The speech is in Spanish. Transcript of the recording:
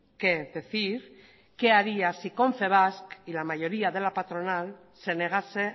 qué decir qué haría si confebask y la mayoría de la patronal se negase